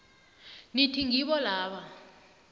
nithi ngibo laba